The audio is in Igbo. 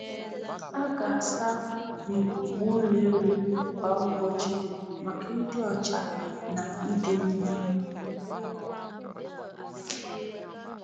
A ga-asa na ịkụpụ ụlọ ewu kwa ụbọchị maka ịdị ọcha na ịdị mma.